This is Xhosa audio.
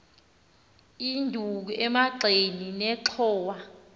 induku emagxeni nenxhowa